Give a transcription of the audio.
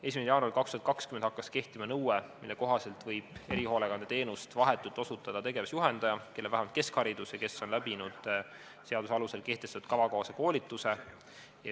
1. jaanuaril 2020 hakkas kehtima nõue, mille kohaselt võib erihoolekandeteenust vahetult osutada tegevusjuhendaja, kellel on vähemalt keskharidus ja kes on läbinud seaduse alusel kehtestatud kava kohase koolituse.